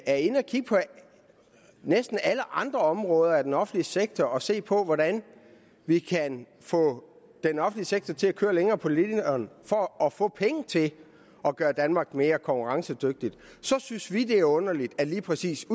er inde og kigge på næsten alle andre områder af den offentlige sektor og se på hvordan vi kan få den offentlige sektor til at køre længere på literen for få penge til at gøre danmark mere konkurrencedygtigt så synes vi det er underligt at lige præcis